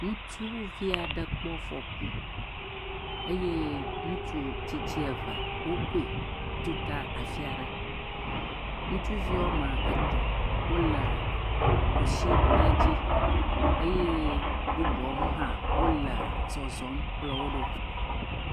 Ŋutsuvi aɖe kpɔ afɔku eye ŋutsu tsitsi eve wokoe tuta afi aɖe, ŋutsuvi woame etɔ̃ wole ɖusi kpadzi eye bubuawo hã wole zɔzɔm kplɔ wo ɖo.